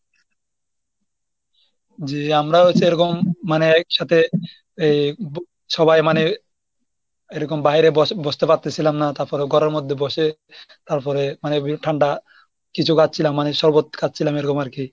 জি আমরাও হৈছে এরকম মানে একসাথে এই সবাই মানে এরকম বাইরে ব~ বসতে পারতেছিলাম না তারপরে ঘরের মধ্যে বসে তারপরে মানে ভী~ ঠান্ডা কিছু খাচ্ছিলাম মানে শরবত খাচ্ছিলাম এরকম আর কি।